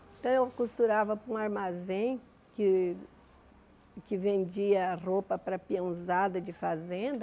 Então eu costurava para um armazém que que vendia roupa para a peãozada de fazenda.